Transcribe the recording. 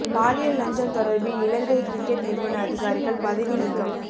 பாலியல் லஞ்சம் தொடர்பில் இலங்கை கிரிக்கட் நிறுவன அதிகாரிகள் பதவி நீக்கம்